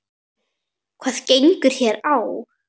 Hvað gengur hér á?